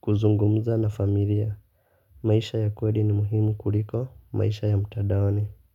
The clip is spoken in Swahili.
kuzungumza na familia. Maisha ya kweli ni muhimu kuliko maisha ya mtadaoni.